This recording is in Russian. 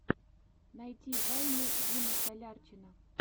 найти вайны димы солярчина